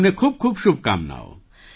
તમને ખૂબખૂબ શુભકામનાઓ